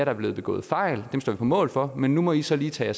er blevet begået fejl dem står vi på mål for men nu må i så lige tage